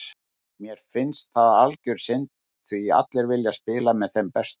Mér finnst það algjör synd því allir vilja spila með þeim bestu.